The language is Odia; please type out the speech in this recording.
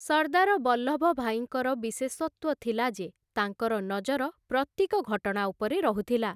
ସର୍ଦ୍ଦାର ବଲ୍ଲଭଭାଇଙ୍କର ବିଶେଷତ୍ୱ ଥିଲା ଯେ, ତାଙ୍କର ନଜର ପ୍ରତ୍ୟେକ ଘଟଣା ଉପରେ ରହୁଥିଲା ।